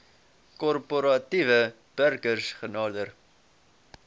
korporatiewe burgers genader